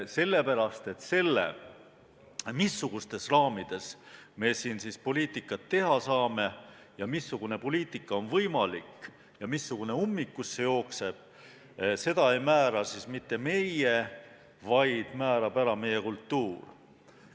Seda, missugustes raamides me siin poliitikat teha saame, missugune poliitika on võimalik ja missugune ummikusse jookseb, ei määra mitte meie, vaid määrab meie kultuur.